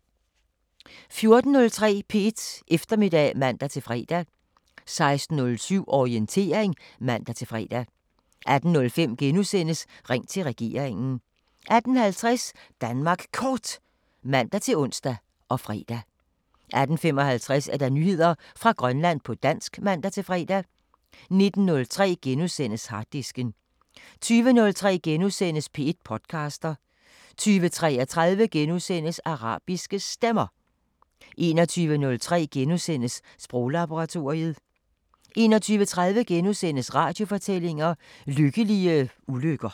14:03: P1 Eftermiddag (man-fre) 16:07: Orientering (man-fre) 18:05: Ring til regeringen * 18:50: Danmark Kort (man-ons og fre) 18:55: Nyheder fra Grønland på dansk (man-fre) 19:03: Harddisken * 20:03: P1 podcaster * 20:33: Arabiske Stemmer * 21:03: Sproglaboratoriet * 21:30: Radiofortællinger: Lykkelige ulykker *